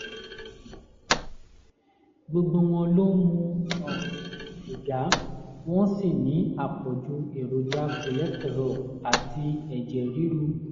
gbogbo wọn ló ń mu um sìgá wọ́n sì ní àpọ̀jù èròjà cholesterol àti ẹ̀jẹ̀ ríru